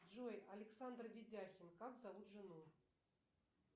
джой александр ведяхин как зовут жену